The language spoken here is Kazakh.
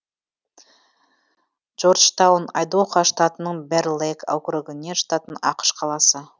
джорджтаун айдахо штатының бэр лейк округіне жататын ақш қаласы